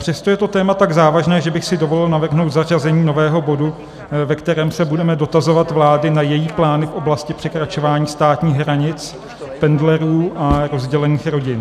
Přesto je to téma tak závažné, že bych si dovolil navrhnout zařazení nového bodu, ve kterém se budeme dotazovat vlády na její plán v oblasti překračování státních hranic pendlerů a rozdělených rodin.